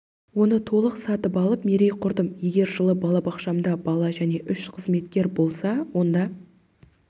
оны толық сатып алып мерей құрдым егер жылы балабақшамда бала және үш қызметкер болса онда